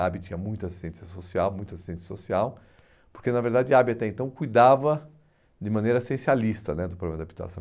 tinha muita assistência social, muito assistente social, porque, na verdade, a até então cuidava de maneira essencialista né do programa de habitação.